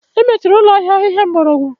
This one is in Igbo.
Emechiri ụlọ ahịa ahịhịa mgbọrọgwụ